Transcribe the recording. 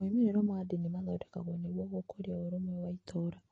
Moimĩrĩro ma ndini mathondekagwo nĩguo gũkũria ũrũmwe wa itũũra.